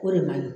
O de man ɲi